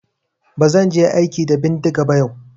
Ba zan je aiki da bindiga ba yau.